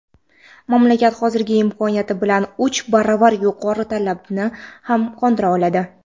mamlakat hozirgi imkoniyati bilan uch baravar yuqori talabni ham qondira oladi.